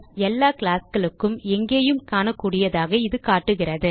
எல்லா classகளுக்கும் எங்கேயும் காணக்கூடியதாக இது காட்டுகிறது